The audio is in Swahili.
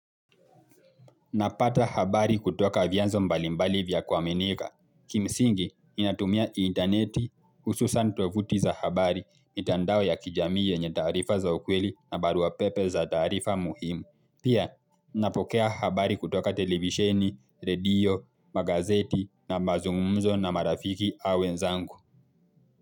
Napata habari kutoka vianzo mbalimbali vya kuaminika. Kimsingi, inatumia interneti, hususan tovuti za habari, mitandao ya kijami yenye taarifa za ukweli na barua pepe za taarifa muhimu. Pia, napokea habari kutoka televisheni, radio, magazeti na mazungumzo na marafiki au wenzangu.